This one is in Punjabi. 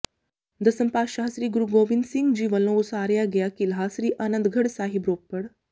ਦਸਮ ਪਾਤਸ਼ਾਹ ਸ੍ਰੀ ਗੁਰੂ ਗੋਬਿੰਦ ਸਿੰਘ ਜੀ ਵੱਲੋਂ ਉਸਾਰਿਆ ਗਿਆ ਕਿਲ੍ਹਾ ਸ੍ਰੀ ਆਨੰਦਗੜ੍ਹ ਸਾਹਿਬ ਰੋਪੜ